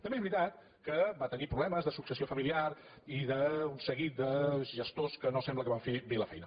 també és veritat que va tenir proble·mes de successió familiar i d’un seguit de gestors que no sembla que van fer bé la feina